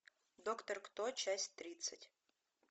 доктор кто часть тридцать